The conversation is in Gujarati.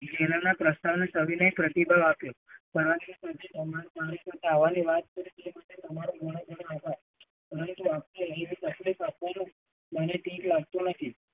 તેને પ્રસ્તાવનો સવિનય પ્રતિભાવ આપ્યો. જવાની વાત કરી એના માટે તમારો ઘણો ઘણો આભાર. મને કઈક લાગતું નથી.